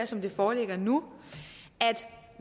som det foreligger nu